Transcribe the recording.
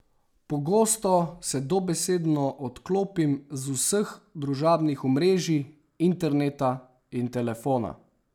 Pogosto se dobesedno odklopim z vseh družabnih omrežij, interneta in telefona.